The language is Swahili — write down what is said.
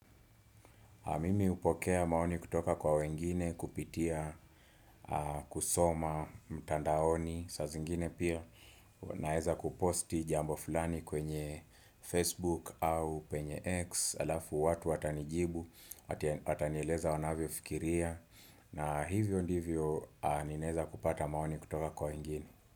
Mimi hupokea maoni kutoka kwa wengine kupitia, kusoma, mtandaoni, saa zingine pia naeza kuposti jambo fulani kwenye Facebook au penye X alafu watu watanijibu, watanieleza wanavyofikiria. Na hivyo ndivyo ninaeza kupata maoni kutoka kwa wengine.